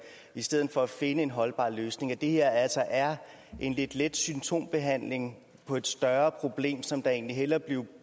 i stedet for at finde en holdbar løsning og at det her altså er en lidt let symptombehandling på et større problem som der egentlig hellere